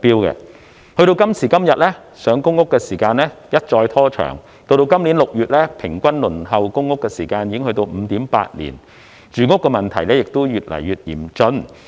時至今天，上公屋的時間一再拖長，截至今年6月，平均輪候公屋的時間已經達到 5.8 年，住屋問題也越來越嚴峻。